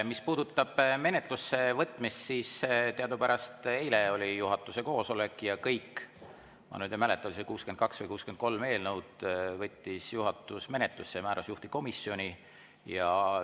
Mis puudutab menetlusse võtmist, siis teadupärast eile oli juhatuse koosolek ja kõik eelnõud – ma nüüd ei mäleta, oli see 62 või 63 eelnõu – võttis juhatus menetlusse ja määras juhtivkomisjoni.